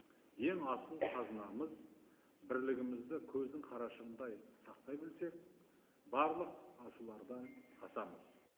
ең асыл қазынамыз бірлігімізді көздің қарашығындай сақтай білсек барлық асулардан асамыз